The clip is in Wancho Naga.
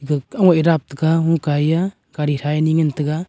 dap taga hukai aa gadi thai ni ngan taga.